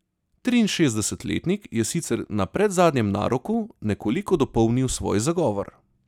Triinšestdesetletnik je sicer na predzadnjem naroku nekoliko dopolnil svoj zagovor.